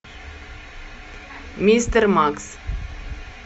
мистер макс